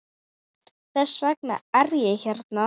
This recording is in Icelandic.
Þess vegna er ég hérna.